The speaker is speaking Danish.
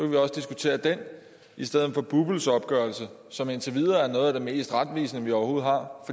vi også diskutere den i stedet for bupls opgørelse som indtil videre er noget af det mest retvisende vi overhovedet har